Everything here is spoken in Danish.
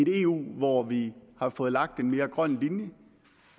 eu hvor vi har fået lagt en mere grøn linje